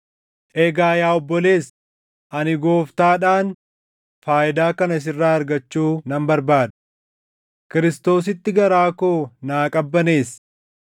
Egaa yaa obboleessa, ani Gooftaadhaan faayidaa kana sirraa argachuu nan barbaada; Kiristoositti garaa koo naa qabbaneessi.